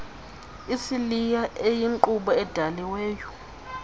isiliya eyinkqubo edaliweyo